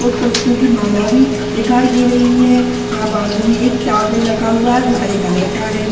और पुष्पों की माला भी दिखाई दे रहे हैं यहां बाजू में एक टॉवल रखा हुआ जो हरे कलर का है।